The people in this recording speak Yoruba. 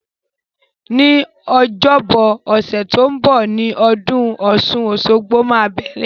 Ní ọjọ́bọ ọ̀sẹ̀ to n bo ni odún osun-osogbo máa bẹ̀rẹ̀